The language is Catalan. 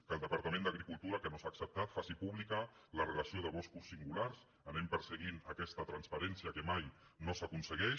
que el departament d’agricultura que no s’ha acceptat faci pública la relació de boscos singulars anem perseguint aquesta transparència que mai no s’aconsegueix